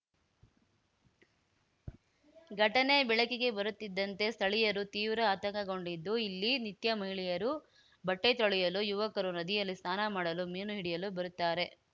ಘಟನೆ ಬೆಳಕಿಗೆ ಬರುತ್ತಿದ್ದಂತೆ ಸ್ಥಳೀಯರು ತೀವ್ರ ಆತಂಕಗೊಂಡಿದ್ದು ಇಲ್ಲಿ ನಿತ್ಯ ಮಹಿಳೆಯರು ಬಟ್ಟೆತೊಳೆಯಲು ಯುವಕರು ನದಿಯಲ್ಲಿ ಸ್ನಾನ ಮಾಡಲು ಮೀನು ಹಿಡಿಯಲು ಬರುತ್ತಾರೆ